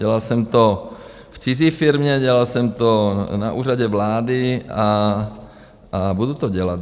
Dělal jsem to v cizí firmě, dělal jsem to na Úřadu vlády a budu to dělat.